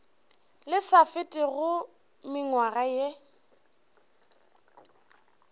le sa fetego mengwaga ye